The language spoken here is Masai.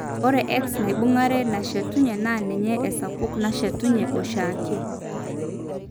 Ore X naibung'are nashetunye naa ninye esapuk nashetunye eoshiake.